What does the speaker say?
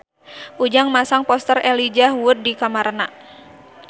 Ujang masang poster Elijah Wood di kamarna